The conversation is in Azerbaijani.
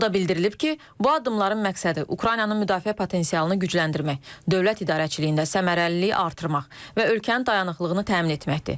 O da bildirilib ki, bu addımların məqsədi Ukraynanın müdafiə potensialını gücləndirmək, dövlət idarəçiliyində səmərəliliyi artırmaq və ölkənin dayanıqlığını təmin etməkdir.